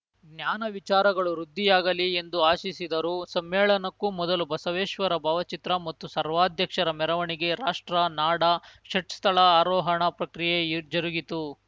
ಜ್ಞಾನ ವಿಚಾರಗಳು ವೃದ್ಧಿಯಾಗಲಿ ಎಂದು ಆಶಿಸಿದರು ಸಮ್ಮೇಳನಕ್ಕೂ ಮೊದಲು ಬಸವೇಶ್ವರ ಭಾವಚಿತ್ರ ಮತ್ತು ಸರ್ವಾಧ್ಯಕ್ಷರ ಮೆರವಣಿಗೆ ರಾಷ್ಟ್ರ ನಾಡ ಷಟ್‌ಸ್ಥಳ ಆರೋಹಣ ಪ್ರಕ್ರಿಯೆ ಜರುಗಿತು